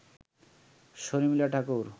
Sharmila Thakur